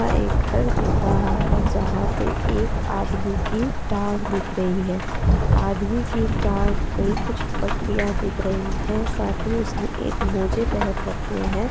यहाँ एक घर दिख रहा है जहाँ पे एक आदमी की टांग दिख रही है आदमी की टांग पे कुछ पटियाँ दिख रही हैं साथ ही उसने एक मोजे पहन रखे हैं।